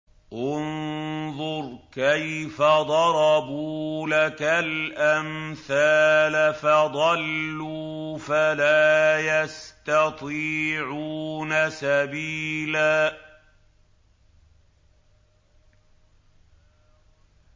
انظُرْ كَيْفَ ضَرَبُوا لَكَ الْأَمْثَالَ فَضَلُّوا فَلَا يَسْتَطِيعُونَ سَبِيلًا